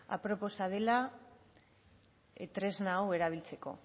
aproposa dela tresna hau erabiltzeko